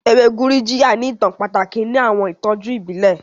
Ewe Gurujiya ni itan pataki ni awọn itọju ibile.